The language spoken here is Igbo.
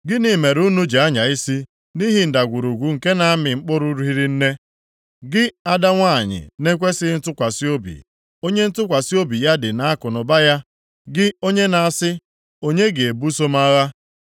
Gịnị mere unu ji anya isi nʼihi ndagwurugwu nke na-amị mkpụrụ hiri nne, gị ada nwanyị na-ekwesighị ntụkwasị obi, onye ntụkwasị obi ya dị nʼakụnụba ya, gị onye na-asị, ‘Onye ga-ebuso m agha?’